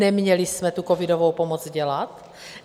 Neměli jsme tu covidovou pomoc dělat?